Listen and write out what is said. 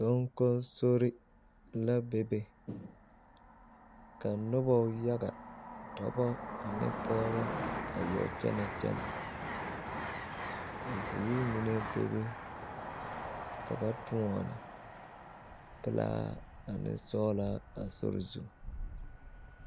Donkonsore la bebe ka noba yaga dɔba ane pɔgeba a yɔ kyɛnɛ kyɛnɛ ka zeere mine bebe ka ba toɔne pelaa ane sɔglaa a sori zu.